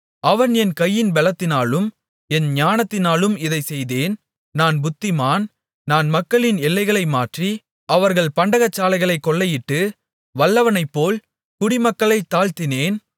அவன் என் கையின் பெலத்தினாலும் என் ஞானத்தினாலும் இதைச் செய்தேன் நான் புத்திமான் நான் மக்களின் எல்லைகளை மாற்றி அவர்கள் பண்டகசாலைகளைக் கொள்ளையிட்டு வல்லவனைப்போல் குடிமக்களைத் தாழ்த்தினேன்